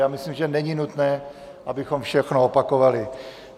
Já myslím, že není nutné, abychom všechno opakovali.